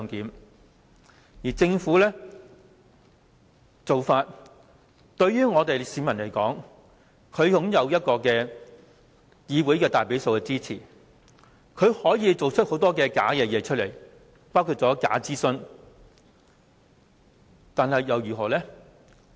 對市民而言，政府在議會內擁有大比數的支持，可以做出很多虛假的事情，包括假諮詢，但這又如何？